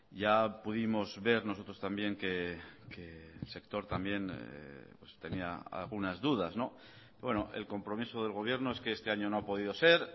ya pudimos ver nosotros también que el sector también pues teníaalgunas dudas el compromiso del gobierno es que este año no ha podido ser